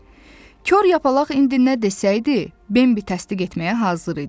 Kor Yapaq indi nə desəydi, Bambi təsdiq etməyə hazır idi.